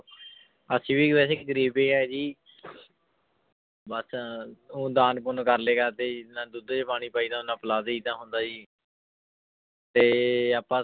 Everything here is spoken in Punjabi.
ਅਸੀਂ ਵੀ ਵੈਸੇ ਗ਼ਰੀਬ ਹੀ ਹੈ ਜੀ ਬਸ ਉਹ ਦਾਨ ਪੁੰਨ ਕਰਲੇ ਕਰਦੇ ਜੀ ਜਿੰਨਾ ਦੁੱਧ ਚ ਪਾਣੀ ਪਾਈਦਾ ਓਨਾ ਪਿਲਾ ਦੇਈਦਾ ਹੁੰਦਾ ਜੀ ਤੇ ਆਪਾਂ